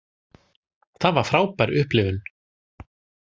Það var frábær upplifun.